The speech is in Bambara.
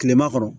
Kilema kɔnɔ